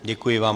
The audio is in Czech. Děkuji vám.